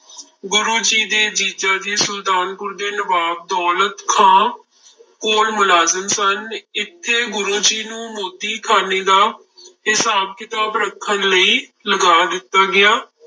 ਗੁਰੂ ਜੀ ਦੇ ਜੀਜਾ ਜੀ ਸੁਲਤਾਨਪੁਰ ਦੇ ਨਵਾਬ ਦੌਲਤ ਖਾਂ ਕੋਲ ਮੁਲਾਜ਼ਮ ਸਨ, ਇੱਥੇ ਗੁਰੂ ਜੀ ਨੂੰ ਮੋਦੀਖਾਨੇ ਦਾ ਹਿਸਾਬ ਕਿਤਾਬ ਰੱਖਣ ਲਈ ਲਗਾ ਦਿੱਤਾ ਗਿਆ।